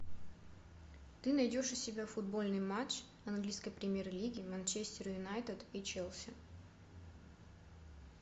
ты найдешь у себя футбольный матч английской премьер лиги манчестер юнайтед и челси